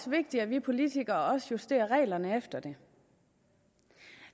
vigtigt at vi politikere også justerer reglerne efter det